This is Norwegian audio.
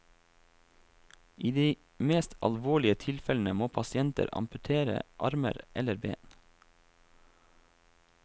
I de mest alvorlige tilfellene må pasienter amputere armer eller ben.